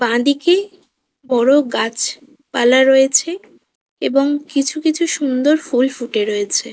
বাঁ দিকে বড় গাছ পালা রয়েছে এবং কিছু কিছু সুন্দর ফুল ফুটে রয়েছে।